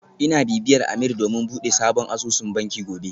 Ina bibiyar Ameer domin bude sabon asusun banki gobe